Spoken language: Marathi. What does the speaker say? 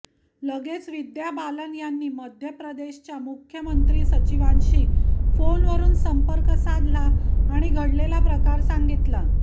लगेच विद्या बालन यांनीमध्यप्रदेशच्या मुख्य सचिवांशी फोनवरून संपर्क साधला आणि घडलेला प्रकार सांगितला